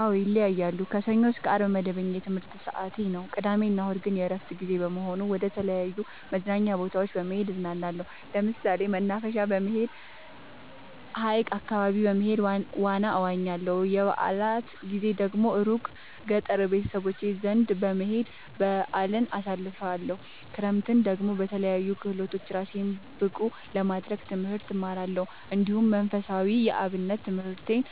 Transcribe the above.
አዎ ይለያያለሉ። ከሰኞ እስከ አርብ መደበኛ የትምህርት ሰዓቴ ነው። ቅዳሜ እና እሁድ ግን የእረፍት ጊዜ በመሆኑ መደተለያዩ መዝናኛ ቦታዎች በመሄድ እዝናናለሁ። ለምሳሌ መናፈሻ በመሄድ። ሀይቅ አካባቢ በመሄድ ዋና እዋኛለሁ። የበአላት ጊዜ ደግሞ እሩቅ ገጠር ቤተሰቦቼ ዘንዳ በመሄድ በአልን አሳልፍለሁ። ክረምትን ደግሞ በለያዩ ክህሎቶች እራሴን ብቀሐ ለማድረግ ትምህርት እማራለሁ። እንዲሁ መንፈሳዊ የአብነት ትምህርቴን